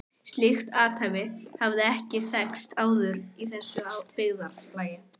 Slíkt athæfi hafði ekki þekkst áður í þessu byggðarlagi.